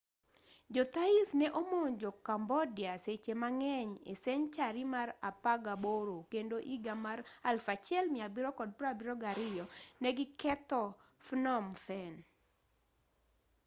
jo thais ne omonjo cambodia seche mang'eny e senchari mar apagaboro kendo iga mar 1772 ne gi ketho phnom phen